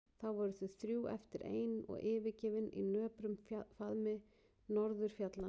Þá voru þau þrjú eftir ein og yfirgefin í nöprum faðmi norðurfjallanna.